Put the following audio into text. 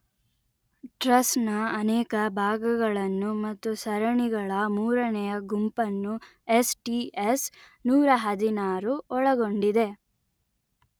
truss ನ ಅನೇಕ ಭಾಗಗಳನ್ನು ಮತ್ತು ಸರಣಿಗಳ ಮೂರನೆಯ ಗುಂಪನ್ನು ಯೆಸ್_letter-en ಟಿ_letter-en ಯೆಸ್_letter-en ನೂರಹದಿನಾರು ಒಳಗೊಂಡಿದೆ